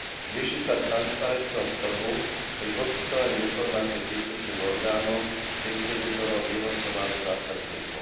Zvýši sa transparentnosť trhu pri poskytovaní informácii príslušným orgánom, distribútorom, vývozcom alebo zákazníkom.